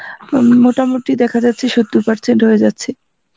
মোটামুটি দেখা যাচ্ছে সত্তর percent হয়ে যাচ্ছে